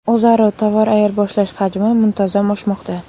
O‘zaro tovar ayirboshlash hajmi muntazam oshmoqda.